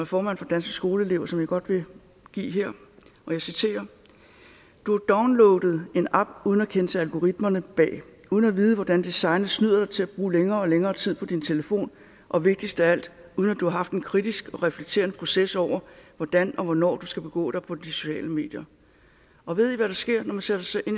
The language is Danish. formand for danske skoleelever som jeg godt vil give her og jeg citerer du har downloadet en app uden at kende til algoritmerne bag uden at vide hvordan designet snyder dig til at bruge længere og længere tid på din telefon og vigtigst af alt uden at du har haft en kritisk og reflekterende proces over hvordan og hvornår du skal begå dig på de sociale medier og ved i hvad der sker når man sætter sig i